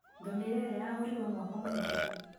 Ngamĩra ĩrĩa yagũrirwo mwaka mũhetũku